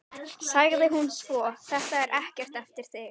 sagði hún svo: Þetta er ekkert eftir þig!